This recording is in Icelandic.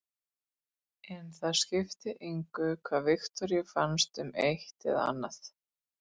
En það skipti engu hvað Viktoríu fannst um eitt eða annað.